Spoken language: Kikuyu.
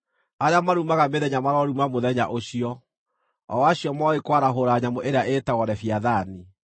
Arĩa marumaga mĩthenya maroruma mũthenya ũcio, o acio moĩ kwarahũra nyamũ ĩrĩa ĩĩtagwo Leviathani.